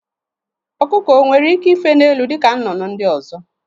Ọkụkọ onwere ike ife n'elu dịka nnụnụ ndị ọzọ?